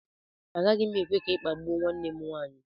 Agaghị m ekwe ka ị kpagbuo nwanne m nwaanyị